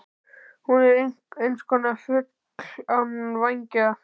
Hún er einhverskonar fugl án vængja.